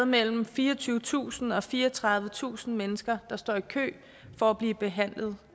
mellem fireogtyvetusind og fireogtredivetusind mennesker der står i kø for at blive behandlet